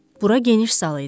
Bura geniş sal idi.